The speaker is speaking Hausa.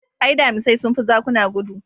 Ae, damisai sun fi zakuna gudu.